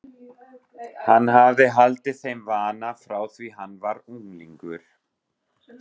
Hann hafði haldið þeim vana frá því hann var unglingur.